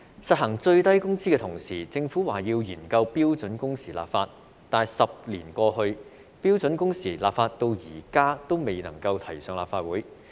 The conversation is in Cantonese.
實行最低工資的同時，政府表示要研究為標準工時立法，但10年過去，標準工時立法至今仍未能提交立法會。